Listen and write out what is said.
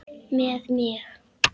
Með mig?